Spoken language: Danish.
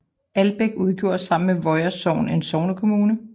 Albæk udgjorde sammen med Voer Sogn en sognekommune